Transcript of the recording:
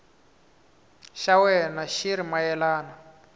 xa wena xi ri mayelana